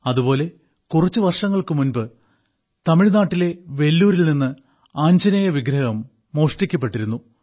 അതുപോലെ കുറച്ച് വർഷങ്ങൾക്ക് മുമ്പ് തമിഴ്നാട്ടിലെ വെല്ലൂരിൽ നിന്ന് ആഞ്ജനേയ വിഗ്രഹം മോഷ്ടിക്കപ്പെട്ടിരുന്നു